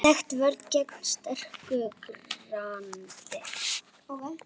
Þekkt vörn gegn sterku grandi.